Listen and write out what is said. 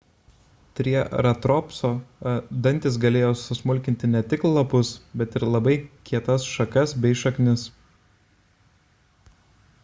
trieratopso dantys galėjo susmulkinti ne tik lapus bet ir labai kietas šakas bei šaknis